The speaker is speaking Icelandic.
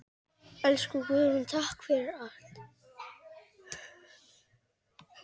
Elsku Guðrún, takk fyrir allt.